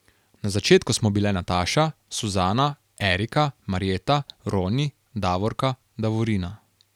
Na začetku smo bile Nataša, Suzana, Erika, Marjeta, Roni, Davorka, Davorina ...